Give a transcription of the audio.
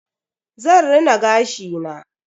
Zan rina gashi na.